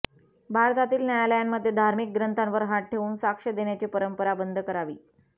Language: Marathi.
भारतातील न्यायालयांमध्ये धार्मिक ग्रंथांवर हात ठेवून साक्ष देण्याची परंपरा बंद करावी